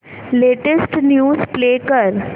latest news play कर